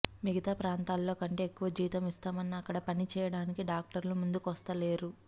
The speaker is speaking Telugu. మిగతా ప్రాంతాల్లో కంటే ఎక్కువ జీతం ఇస్తామన్నా అక్కడ పని చేయడానికి డాక్టర్లు ముందుకొస్తలేరు